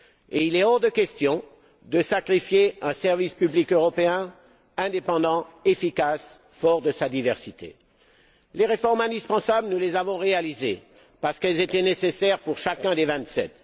Et il est hors de question de sacrifier un service public européen indépendant, efficace et fort de sa diversité. Les réformes indispensables, nous les avons réalisées, parce qu'elles étaient nécessaires pour chacun des vingt sept.